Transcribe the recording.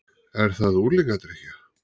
Er það unglingadrykkja?